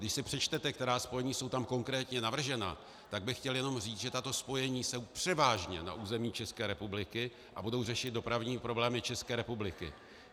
Když si přečtete, která spojení jsou tam konkrétně navržena, tak bych chtěl jenom říct, že tato spojení jsou převážně na území České republiky a budou řešit dopravní problémy České republiky.